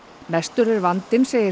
mestur er vandinn segir